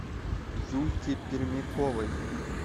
юльки пермяковой